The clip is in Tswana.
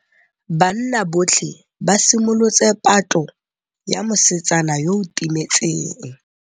Banna botlhê ba simolotse patlô ya mosetsana yo o timetseng.